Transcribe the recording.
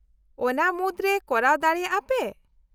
-ᱚᱱᱟ ᱢᱩᱫᱨᱮ ᱠᱚᱨᱟᱣ ᱫᱟᱲᱮᱭᱟᱜᱼᱟ ᱯᱮ ?